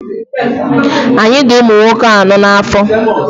Anyị dị ụmụnwoke anọọ n'afọ.